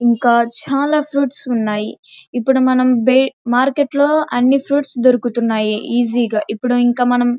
ఇంకా చాలా ఫ్రూట్స్ ఉన్నాయి.ఇప్పుడు మనం మార్కెట్లో అన్నీ ఫ్రూట్స్ దొరుకుతున్నాయి ఈజీ గా ఇప్పుడు మనం --